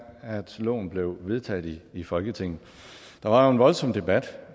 loven blev vedtaget i i folketinget der var jo en voldsom debat